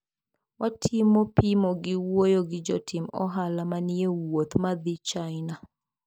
watimo pimo gi wuoyo gi jotim ohala maniewuoth madhii china.